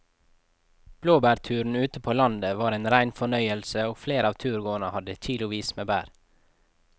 Blåbærturen ute på landet var en rein fornøyelse og flere av turgåerene hadde kilosvis med bær.